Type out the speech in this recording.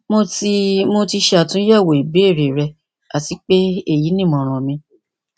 mo ti mo ti ṣe atunyẹwo ibeere rẹ ati pe eyi ni imọran mi